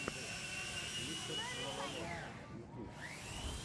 мистер лололошка ютуб